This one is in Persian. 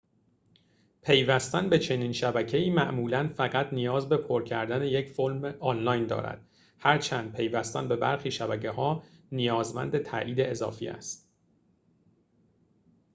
پیوستن به چنین شبکه‌ای معمولاً فقط نیاز به پر کردن یک فرم آنلاین دارد هرچند پیوستن به برخی شبکه‌ها نیازمند تأیید اضافی است